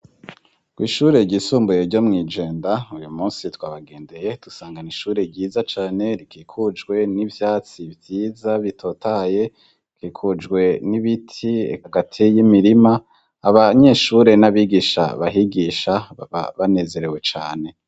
Kw'ishure ryisumbuye ryo mw'i Jenda, uyu munsi twabagendeye tusangana n'ishure ryiza cane, rikikujwe n'ivyatsi vyiza bitotaye. Rikikujwe n'ibiti hagati y'imirima. Abanyeshure n'abigisha bahigisha baba banezerewe cane.